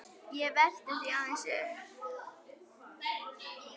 Ég velti því aðeins upp.